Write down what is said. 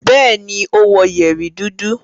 Bẹ́ẹ̀ni, ó wọ yẹ̀rì dúdú.